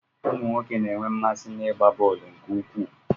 Ụmụnwoke na-enwe mmasị n'ịgba bọọlụ nke ukwuu.